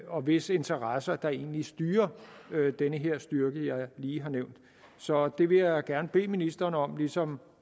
og hvis interesser der egentlig styrer den her styrke jeg lige har nævnt så det vil jeg gerne bede ministeren om ligesom